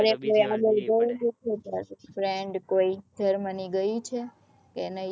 friend કોઈ Germany ગયું છે કે નઈ